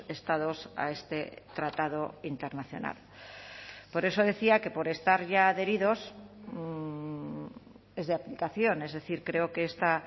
estados a este tratado internacional por eso decía que por estar ya adheridos es de aplicación es decir creo que esta